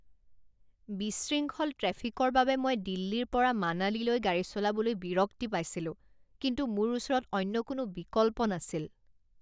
বিশৃংখল ট্ৰেফিকৰ বাবে মই দিল্লীৰ পৰা মানালিলৈ গাড়ী চলাবলৈ বিৰক্তি পাইছিলোঁ, কিন্তু মোৰ ওচৰত অন্য কোনো বিকল্প নাছিল।